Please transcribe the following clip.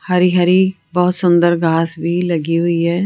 हरी हरी बहोत सुंदर घास भी लगी हुई है।